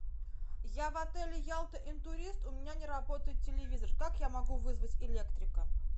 я в отеле ялта интурист у меня не работает телевизор как я могу вызвать электрика